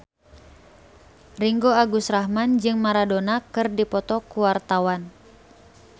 Ringgo Agus Rahman jeung Maradona keur dipoto ku wartawan